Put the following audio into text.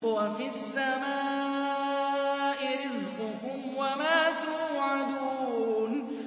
وَفِي السَّمَاءِ رِزْقُكُمْ وَمَا تُوعَدُونَ